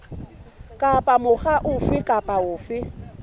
kapa mokga ofe kapa ofe